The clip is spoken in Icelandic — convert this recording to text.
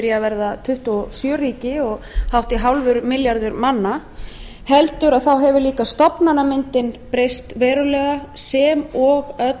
að verða tuttugu og sjö ríki og hátt í hálfur milljarður manna heldur hefur líka stofnanamyndin breyst verulega sem og